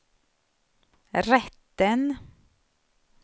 rätten